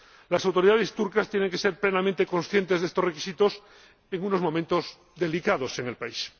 Las autoridades turcas tienen que ser plenamente conscientes de estos requisitos en unos momentos delicados en el país.